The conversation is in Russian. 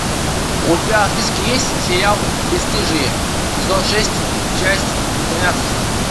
у тебя в списке есть сериал бесстыжие сезон шесть часть тринадцать